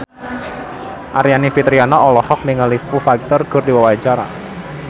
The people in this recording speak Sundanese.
Aryani Fitriana olohok ningali Foo Fighter keur diwawancara